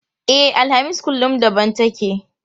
E, alhamis kullum daban take.